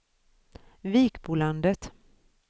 Vikbolandet